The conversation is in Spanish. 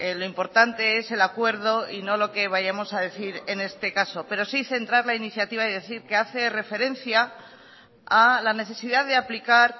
lo importante es el acuerdo y no lo que vayamos a decir en este caso pero sí centrar la iniciativa y decir que hace referencia a la necesidad de aplicar